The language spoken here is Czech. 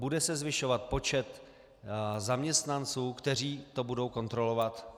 Bude se zvyšovat počet zaměstnanců, kteří to budou kontrolovat?